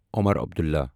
Omar Abdullah